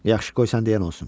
Yaxşı, qoy sən deyən olsun.